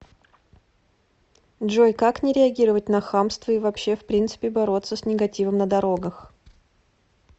джой как не реагировать на хамство и вообще в принципе бороться с негативом на дорогах